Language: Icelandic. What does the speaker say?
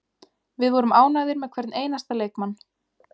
Við vorum ánægðir með hvern einasta leikmann.